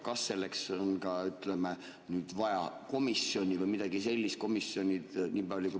Kas selleks on ka vaja komisjoni või midagi sellist?